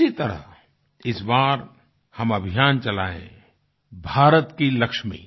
उसी तरह इस बार हम अभियान चलायें भारत की लक्ष्मी